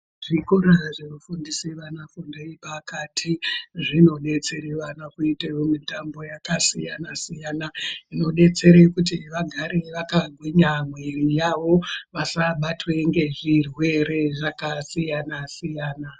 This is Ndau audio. Zvikoro zvinofundise vana fundo yepakati zvinobetsere vana kuita mitambo yakasiyana-siyana idodetsere kuti vagare vakagwinya mwiri yavo, vasabatwa ngezvirwere zvakasiyana -siyana.